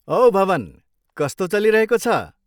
औ भवन, कस्तो चलिरहेको छ?